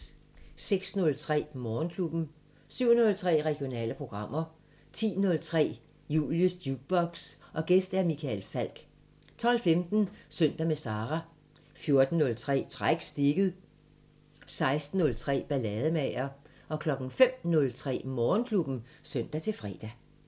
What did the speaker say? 06:03: Morgenklubben 07:03: Regionale programmer 10:03: Julies Jukebox: Gæst Michael Falch 12:15: Søndag med Sara 14:03: Træk stikket 16:03: Ballademager 05:03: Morgenklubben (søn-fre)